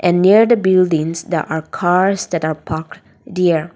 near the buildings the are cars that are parked there--